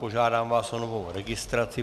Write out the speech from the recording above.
Požádám vás o novou registraci.